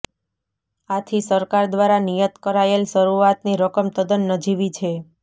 આથી સરકાર દ્વારા નિયત કરાયેલ શરૂઆતની રકમ તદ્દન નજીવી છે